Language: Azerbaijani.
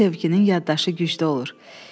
İlk sevginin yaddaşı güclü olur.